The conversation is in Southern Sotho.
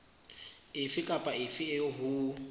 efe kapa efe eo ho